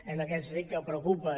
en aquest sentit que preocupa